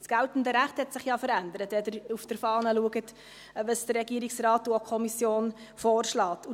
Das geltende Recht hat sich ja verändert, wenn Sie auf der Fahne schauen, was der Regierungsrat und auch die Kommission vorschlagen.